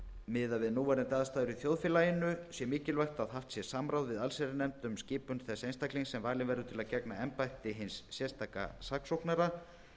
miðað við núverandi aðstæður í þjóðfélaginu sé mikilvægt að haft sé samráð við allsherjarnefnd um skipun þess einstaklings sem valinn verður til að gegna embætti hins sérstaka saksóknara